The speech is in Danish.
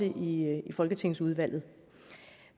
i folketingsudvalget